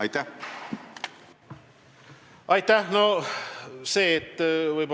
Aitäh!